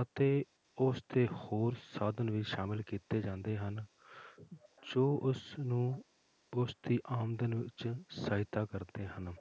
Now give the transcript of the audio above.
ਅਤੇ ਉਸਦੇ ਹੋਰ ਸਾਧਨ ਵੀ ਸ਼ਾਮਿਲ ਕੀਤੇ ਜਾਂਦੇ ਹਨ ਜੋ ਉਸਨੂੰ ਉਸਦੀ ਆਮਦਨ ਵਿੱਚ ਸਹਾਇਤਾ ਕਰਦੇ ਹਨ